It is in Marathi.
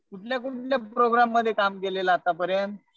कुठल्या कुठल्या प्रोग्राममध्ये काम केलेलं आता पर्यंत?